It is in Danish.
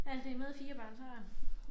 Alt det med 4 børn så